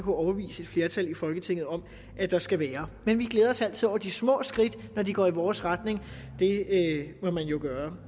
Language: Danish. overbevise et flertal i folketinget om at der skal være men vi glæder os altid over de små skridt når de går i vores retning det må man jo gøre